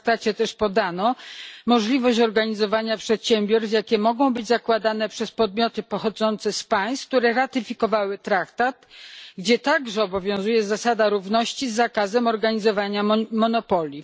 W traktacie też podano możliwość organizowania przedsiębiorstw, jakie mogą być zakładane przez podmioty pochodzące z państw, które ratyfikowały traktat, gdzie także obowiązuje zasada równości z zakazem organizowania monopoli.